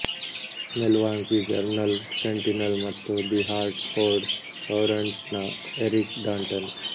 Milwaukee Journal Sentinel ಮತ್ತು the Hartford Courant ನ Eric Danton